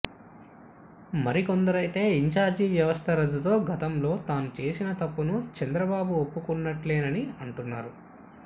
మరికొందరైతే incharge వ్యవస్థ రద్దుతో గతంలో తాను చేసిన తప్పును చంద్రబాబు ఒప్పుకున్నట్లేనని అంటున్నారు